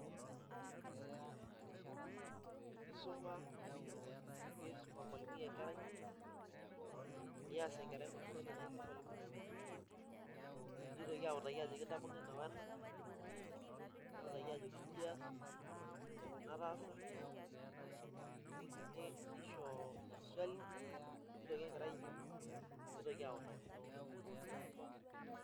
Kiisum ormalimui enkerai nees enkerai maswali naishoo ormalimui nitoki autaki ajoki intapong'o ena o ena neutaki ajoki inji ias o nji ena taasa nisho maswali nitoki enkerai aijibu nitoki autaki.